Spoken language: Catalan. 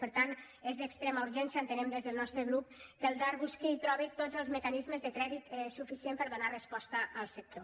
per tant és d’extrema urgència entenem des del nostre grup que el dar busqui i trobi tots els mecanismes de crèdit suficient per a donar resposta al sector